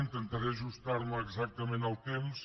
intentaré ajustar me exactament al temps